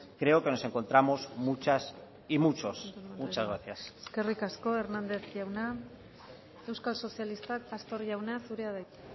creo que nos encontramos muchas y muchos muchas gracias eskerrik asko hernández jauna euskal sozialistak pastor jauna zurea da hitza